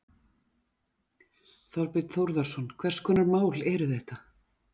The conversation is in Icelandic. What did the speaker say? Þorbjörn Þórðarson: Hvers konar mál eru þetta?